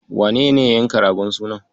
Wanene ya yanka ragon sunan?